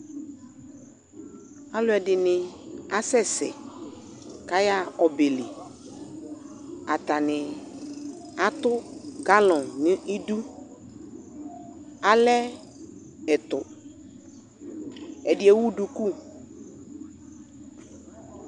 Alʋɛdɩnɩ asɛsɛ kʋ ayaɣa ɔbɛ li Atanɩ atʋ galɔn nʋ idu Alɛ ɛtʋ Ɛdɩ ewu duku